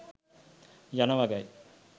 යන වගයි.